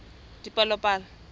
dipalopalo